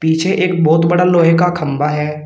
पीछे एक बहुत बड़ा लोहे का खंबा है।